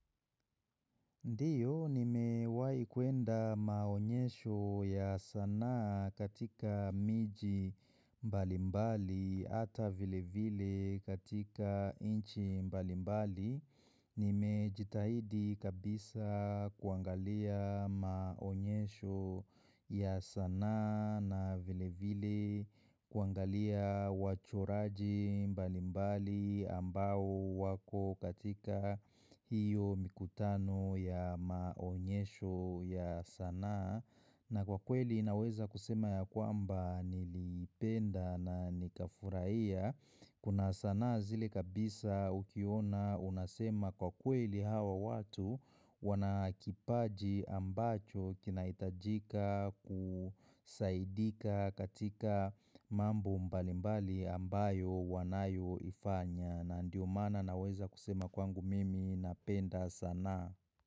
Ndio, nimewahi kuenda maonyesho ya sanaa katika miji mbalimbali ata vile vile katika inchi mbalimbali. Nimejitahidi kabisa kuangalia maonyesho ya sanaa na vilevile kuangalia wachoraji mbalimbali ambao wako katika hiyo mikutano ya maonyesho ya sanaa na kwa kweli naweza kusema ya kwamba nilipenda na nika furahia Kuna sanaa zile kabisa ukiona unasema kwa kweli hawa watu Wanakipaji ambacho kinaitajika kusaidika katika mambo mbalimbali ambayo wanayo ifanya na ndio mana naweza kusema kwangu mimi napenda sana.